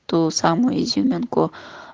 ту самую изюминку